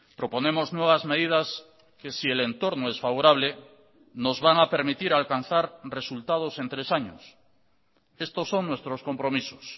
proponemos nuevas medidas que si el entorno es favorable nos van a permitir alcanzar resultados en tres años estos son nuestros compromisos